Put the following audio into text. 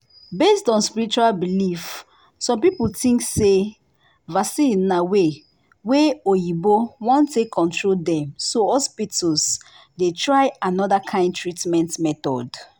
based on spiritual belief some people think say vaccine na way wa oyinbo wan take control dem so hospitals dey try another kind treatment method